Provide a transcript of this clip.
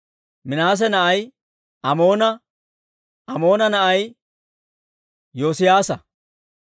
Minaase na'ay Amoona; Amoona na'ay Yoosiyaasa.